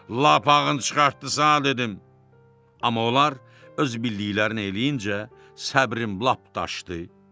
Lapağın çıxartdı sa dedim, amma onlar öz bildiklərini eləyincə səbrim lap daşdı.